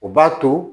O b'a to